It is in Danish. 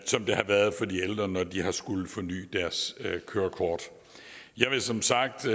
som det har været for de ældre når de har skullet forny deres kørekort jeg vil som sagt